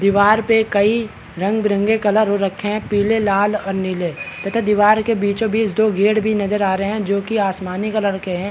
दीवार पे कई रंग बिरंगे कलर हो रखे है पीले लाल और नीले तथा दीवार के बीचों बीच दो गेट भी नजर आ रहे है जो कि आसमानी कलर के है।